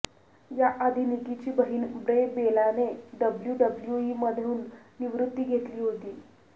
याआधी निकीची बहिण ब्रे बेलाने डब्ल्यूडब्ल्यूई मधून निवृत्ती घेतली होती